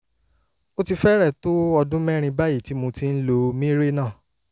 ó ti fẹ́rẹ̀ẹ́ tó ọdún mẹ́rin báyìí tí mo ti ń lo mirena